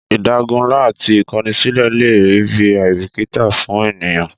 Ìdágunlá ati ìkọni sílẹ̀ lè rí bi àìbìkítà fún ènìyàn